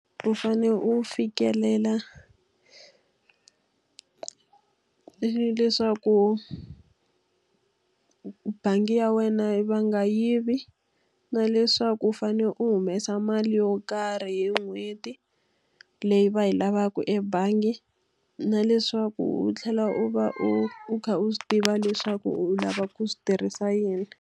U fanele u fikelela leswaku bangi ya wena va nga yivi, na leswaku fanele u humesa mali yo karhi hi n'hweti leyi va yi lavaka ebangi, na leswaku u tlhela u va u u kha u swi tiva leswaku u lava ku swi tirhisa yini.